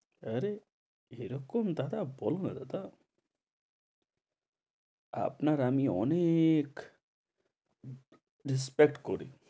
আরে, এরকম দাদা বলো না দাদা আপনার আমি অনেক respect করি।